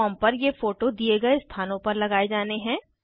form पर ये photo दिए गए स्थानों पर लगाये जाने हैं